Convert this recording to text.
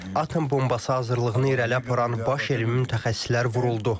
Atom bombası hazırlığını irəli aparan baş elmi mütəxəssislər vuruldu.